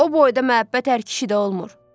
O boyda məhəbbət hər kişidə olmur.